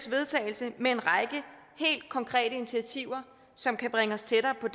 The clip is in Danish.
vedtagelse med en række helt konkrete initiativer som kan bringe os tættere på